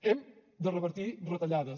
hem de revertir retallades